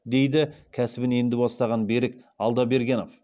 дейді кәсібін енді бастаған берік алдабергенов